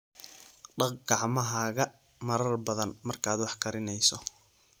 Dhaq gacmahaaga marar badan markaad wax karinayso.